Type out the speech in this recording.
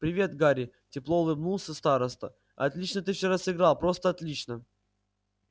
привет гарри тепло улыбнулся староста отлично ты вчера сыграл просто отлично